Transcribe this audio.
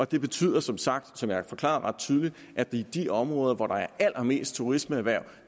det betyder som sagt som jeg har forklaret ret tydeligt at der i de områder hvor der er allermest turismeerhverv